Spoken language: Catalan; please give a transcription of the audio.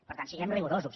per tant siguem rigorosos